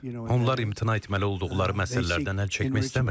Onlar imtina etməli olduqları məsələlərdən əl çəkmək istəmirlər.